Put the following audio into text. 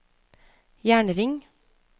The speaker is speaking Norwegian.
jernring